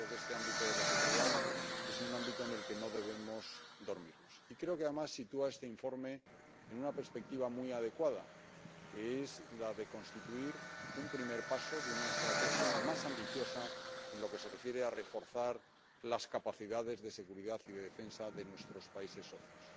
Yo creo que este ámbito de la seguridad es un ámbito en el que no debemos dormirnos, y creo que, además, sitúa este informe en una perspectiva muy adecuada, que es la de constituir un primer paso de una estrategia más ambiciosa en lo que se refiere a reforzar las capacidades de seguridad y de defensa de nuestros países socios.